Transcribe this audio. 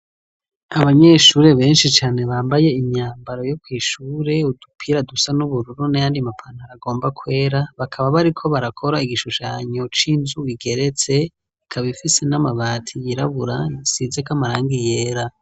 Abanyeshure benshi cane bambaye imyambaro yo kw'ishure, udupira dusa n'ubururu n'ayandi ma pantaro agomba kwera, bakaba bariko barakora igishushanyo c'inzu igeretse, ikaba ifise n'amabati yirabura isizeko amarangi yera.